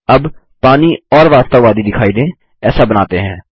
अब पानी और वास्तववादी दिखाई दें ऐसा बनाते हैं